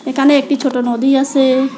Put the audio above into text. এখানে একটি ছোট নদী আসে।